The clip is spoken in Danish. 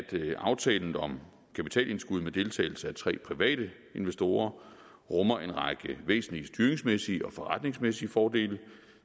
aftalen om kapitalindskud med deltagelse af tre private investorer rummer en række væsentlige styringsmæssige og forretningsmæssige fordele